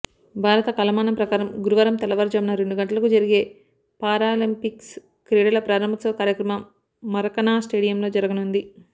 భారత కాలమానం ప్రకారం గురువారం తెల్లవారుజామున రెండు గంటలకు జరిగే పారాలింపిక్స్ క్రీడల ప్రారంభోత్సవ కార్యక్రమం మరకానా స్టేడియంలో జరుగనుంది